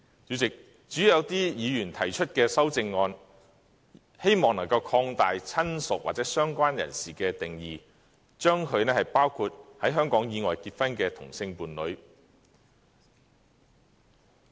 主席，有些議員提出的修正案，建議擴大"親屬"或"相關人士"的定義，將之包括在香港以外結婚的同性伴侶。